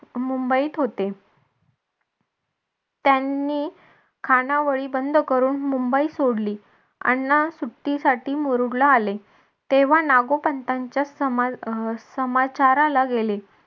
मुंबईत होते त्यांनी खानावळी बंद करून मुंबई सोडली अण्णा सुट्टीसाठी मुरुडला आले. तेव्हा नागो पंतांच्या समा अं समाचाराला गेले.